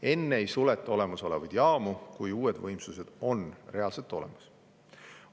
Enne ei suleta olemasolevaid jaamu, kui uued võimsused on reaalselt olemas.